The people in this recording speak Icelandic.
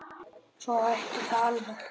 Svo hætti það alveg.